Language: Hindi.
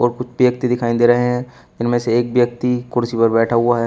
व्यक्ति दिखाई दे रहे हैं इनमें से एक व्यक्ति कुर्सी पर बैठा हुआ है।